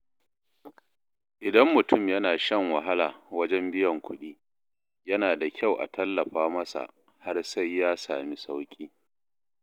Idan mutum yana shan wahala wajen biyan kuɗi, yana da kyau a tallafa masa har sai ya sami sauƙi.